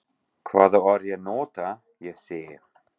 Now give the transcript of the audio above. Hvaða orð ég nota, ég segi.